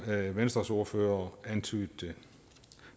hvad venstres ordfører antydede